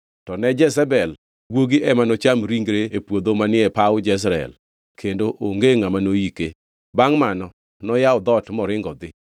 To ne Jezebel guogi ema nocham ringre e puodho manie paw Jezreel kendo onge ngʼama noyike.’ ” Bangʼ mano noyawo dhoot moringo odhi.